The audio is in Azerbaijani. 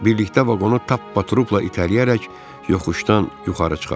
Birlikdə vaqonu tappaturupla itələyərək yoxuşdan yuxarı çıxartdılar.